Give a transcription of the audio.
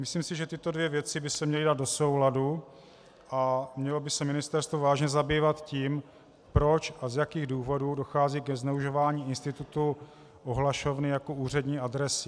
Myslím si, že tyto dvě věci by se měly dát do souladu a mělo by se ministerstvo vážně zabývat tím, proč a z jakých důvodů dochází ke zneužívání institutu ohlašovny jako úřední adresy.